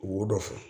Wo dɔ fɔ